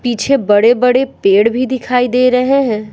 पीछे बड़े-बड़े पेड़ भी दिखाई दे रहे हैं।